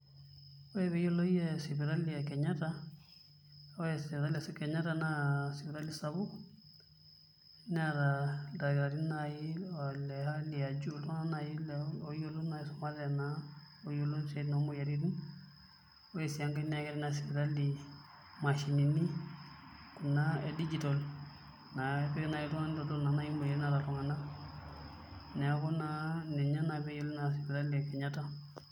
Ore pee eyioloi ee sipitali e Kenyatta ore sipitali e Kenyatta naa sipitali sapuk neeta ildakitarini le hali iltung'anak naai oisumate ooyiolo isiaitin oomuoyiaritin ore sii enkae naa keeta ina sipitali imashinini kuna e digital naapiki naai iltung'anak nitodolu imoyiaritin naata iltung'anak neeku naa ninye naa pee eiyioloi sipitali e Kenyatta.